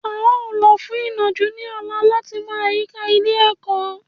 À ń lọ fún ìnàjú ní ọ̀la láti mọ àyíká ilé ẹ̀kọ́